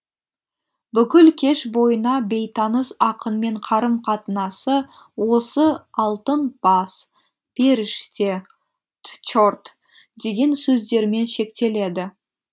бүкіл кеш бойына бейтаныс ақынмен қарым қатынасы осы алтын бас періште тчорт деген сөздермен шектеледі